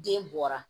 Den bɔra